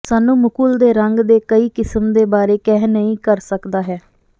ਸਾਨੂੰ ਮੁਕੁਲ ਦੇ ਰੰਗ ਦੇ ਕਈ ਕਿਸਮ ਦੇ ਬਾਰੇ ਕਹਿ ਨਹੀ ਕਰ ਸਕਦਾ ਹੈ